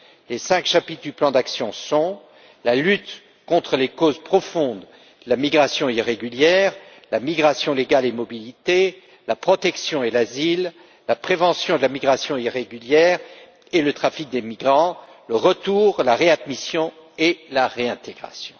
Les cinq chapitres du plan d'action sont la lutte contre les causes profondes, la migration irrégulière, la migration légale et la mobilité, la protection et l'asile, la prévention de la migration irrégulière et le trafic des migrants, le retour, la réadmission et la réintégration.